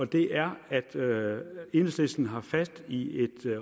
det er at at enhedslisten har fat i et